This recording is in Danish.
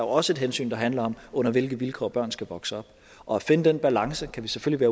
også et hensyn der handler om under hvilke vilkår børn skal vokse op og at finde den balance kan vi selvfølgelig